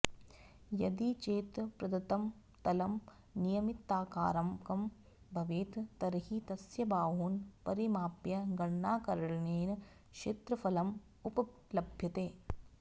यदि चेत् प्रदत्तं तलं नियमिताकारकं भवेत् तर्हि तस्य बाहून् परिमाप्य गणनाकरणेन क्षेत्रफलम् उपलभ्यते